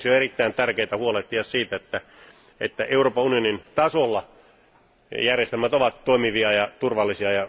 Sen vuoksi on erittäin tärkeää huolehtia siitä, että Euroopan unionin tasolla järjestelmät ovat toimivia ja turvallisia.